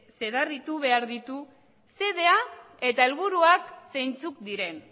zedarritu behar ditu xedea eta helburuak zeintzuk diren